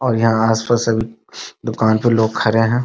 और यहाँ आस पास सभी दुकान पे लोग खड़े हैं ।